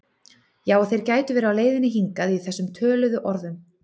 Já og þeir gætu verið á leiðinni hingað í þessum töluðu orðum